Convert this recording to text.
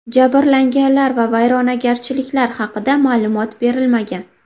Jabrlanganlar va vayronagarchiliklar haqida ma’lumot berilmagan.